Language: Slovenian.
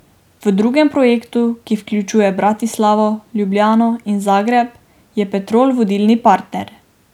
V drugem projektu, ki vključuje Bratislavo, Ljubljano in Zagreb, je Petrol vodilni partner.